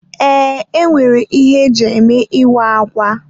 Ee, enwere ihe ndị eji eme ịwa ákwà.